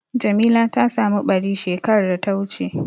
Jamila ta samu ɓari shekar da ta wuce.